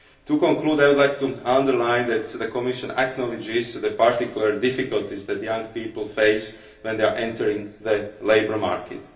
To conclude, I would like to underline that the Commission acknowledges the particular difficulties that young people face when they are entering the labour market.